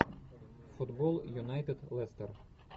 футбол юнайтед лестер